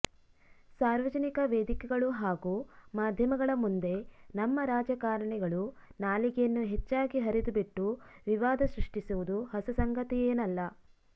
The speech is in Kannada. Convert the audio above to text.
ಸಾರ್ವಜನಿಕ ವೇದಿಕೆಗಳು ಹಾಗೂ ಮಾಧ್ಯಮಗಳ ಮುಂದೆ ನಮ್ಮ ರಾಜಕಾರಣಿಗಳು ನಾಲಿಗೆಯನ್ನು ಹೆಚ್ಚಾಗಿ ಹರಿದು ಬಿಟ್ಟು ವಿವಾದ ಸೃಷ್ಟಿಸುವುದು ಹೊಸ ಸಂಗತಿಯೇನಲ್ಲ